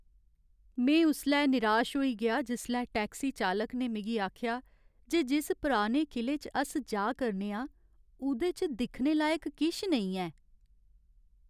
में उसलै निराश होई गेआ जिसलै टैक्सी चालक ने मिगी आखेआ जे जिस पुराने किले च अस जा करने आं, ओह्दे च दिक्खने लायक किश नेईं ऐ।